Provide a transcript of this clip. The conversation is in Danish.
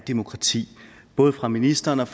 demokratiet både af ministrene og